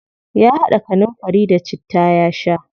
Ya haɗa kanunfari da citta ya sha.